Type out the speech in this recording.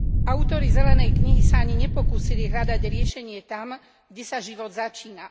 Autori zelenej knihy sa ani nepokúsili hľadať riešenie tam, kde sa život začína.